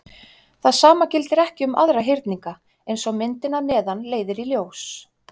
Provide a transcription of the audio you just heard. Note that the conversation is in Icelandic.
Það sama gildir ekki um aðra hyrninga, eins og myndin að neðan leiðir í ljós.